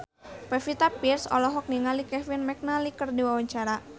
Pevita Pearce olohok ningali Kevin McNally keur diwawancara